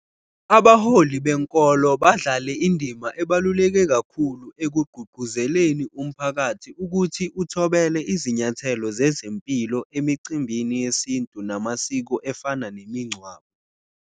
Abaholi benkolo badlale indima ebaluleke kakhulu ekugqugquzeleni umphakathi ukuthi uthobele izinyathelo zezempilo emicimbini yesintu namasiko efana nemingcwabo.